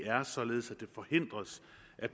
er